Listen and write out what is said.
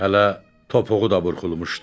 Hələ topuğu da burxulmuşdu.